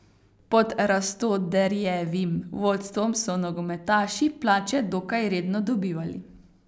Pod Rastoderjevim vodstvom so nogometaši plače dokaj redno dobivali.